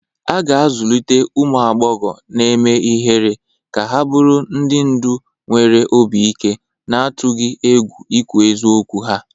A ga-azụlite ụmụ agbọghọ na-eme ihere ka ha bụrụ ndị ndu nwere obi ike, na-atụghị egwu ikwu eziokwu ha.